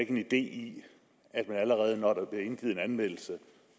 en idé i at der allerede når der blev indgivet en anmeldelse